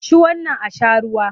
Ci wannan an sha ruwa!